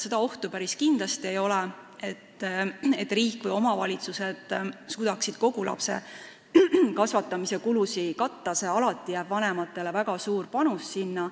Seda ohtu päris kindlasti ei ole, et riik või omavalitsused suudaksid kõiki lapse kasvatamise kulusid katta, alati jääb vanematele väga suur osa.